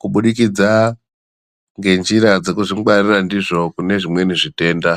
kubudikidza ngenjira dzekuzvingwarira ndizvo, kubve kune zvimweni zvitenda.